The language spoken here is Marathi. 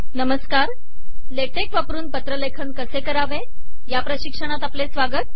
नमस्कार ला टेक वापरून पत्रलेखन कसे करावे या प्रशिक्षणात आपले स्वागत